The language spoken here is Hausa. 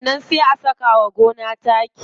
Sannan sai a saka wa gona taki.